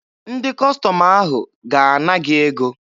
Ndị Kọstọm ahụ ga-ana gị ego